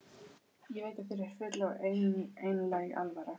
Ég veit að þér er full og einlæg alvara.